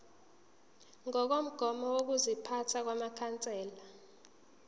ngokomgomo wokuziphatha wamakhansela